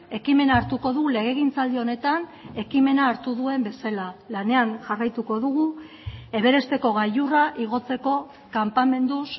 ekimena hartuko du legegintzaldi honetan ekimena hartu duen bezala lanean jarraituko dugu everesteko gailurra igotzeko kanpamenduz